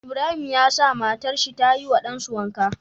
Ibrahim ya sa matar shi tayi wa ɗan su wanka